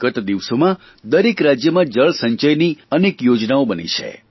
ગત દિવસોમાં દરેક રાજમયાં જળસંચયની અનેક યોજનાઓ બની છે